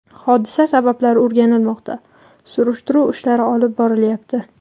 Hodisa sabablari o‘rganilmoqda, surishtiruv ishlari olib borilyapti.